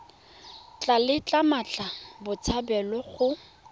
tla letla mmatla botshabelo go